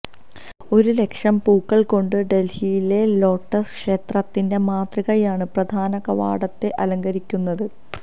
ഒരു ലക്ഷം പൂക്കൾ കൊണ്ട് ഡൽഹിയിലെ ലോട്ടസ് ക്ഷേത്രത്തിന്റെ മാതൃകയാണ് പ്രധാനകവാടത്തെ അലങ്കരിക്കുന്നത്